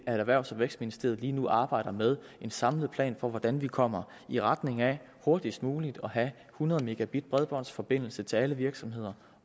at erhvervs og vækstministeriet lige nu arbejder med en samlet plan for hvordan vi kommer i retning af hurtigst muligt at have hundrede mb bredbåndsforbindelse til alle virksomheder